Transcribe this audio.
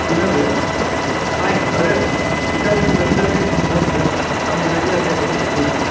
બીના ben fine અરે Rita ben Sangeeta ben most welcome તમે આવ્યા તે ગમ્યું good